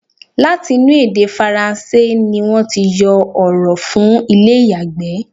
Láti inú èdè faransé ni wọ́n ti yọ ọ̀rọ̀ fún ilé ìyàgbẹ́.